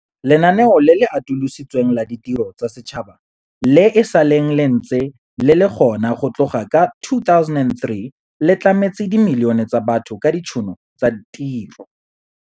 Lenaneo le le Atolositsweng la Ditiro tsa Setšhaba, le e sa leng le ntse le le gona go tloga ka 2003, le tlametse dimilione tsa batho ka ditšhono tsa tiro.